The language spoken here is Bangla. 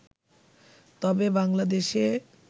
তবে বাংলাদেশে